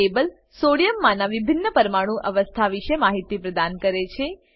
આ table sodium માંનાં વિભિન્ન પરમાણુ અવસ્થા વિશે માહિતી પ્રદાન કરે છે